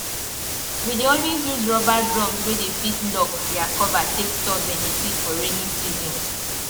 we dey always use rubber drums wey dey fit lock their cover take store beniseed for rainy season